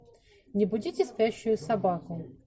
не будите спящую собаку